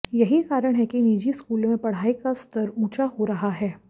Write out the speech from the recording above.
यही कारण है कि निजी स्कूलों में पढ़ाई का स्तर ऊंचा हो रहा है